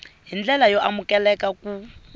hi ndlela yo amukeleka ku